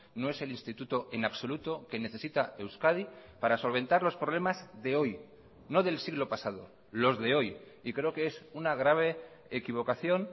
no es el instituto en absoluto que necesita euskadi para solventar los problemas de hoy no del siglo pasado los de hoy y creo que es una grave equivocación